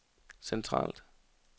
centralt